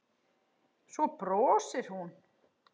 Svo brosir hún.